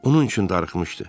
Onun üçün darıxmışdı.